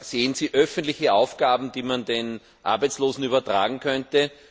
Sehen Sie öffentliche Aufgaben, die man den Arbeitslosen übertragen könnte?